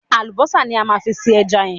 Àlùbọ́sà ní a máa fi se ẹja yẹn.